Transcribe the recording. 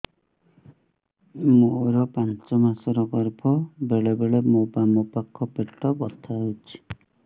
ମୋର ପାଞ୍ଚ ମାସ ର ଗର୍ଭ ବେଳେ ବେଳେ ମୋ ବାମ ପାଖ ପେଟ ବଥା ହଉଛି